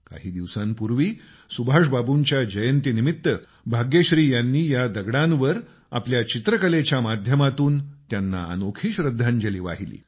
काही दिवसांपूर्वी सुभाषबाबूंच्या जयंतीनिमित्त भाग्यश्रींनी या दगडांवर आपल्या चित्रकलेच्या माध्यमातून त्यांना अनोखी श्रद्धांजली वाहिली